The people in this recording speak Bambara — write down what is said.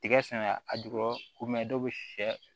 Tigɛ sɛnɛ a jukɔrɔ dɔ be sɛ